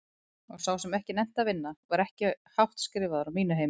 Og sá sem ekki nennti að vinna var ekki hátt skrifaður á mínu heimili.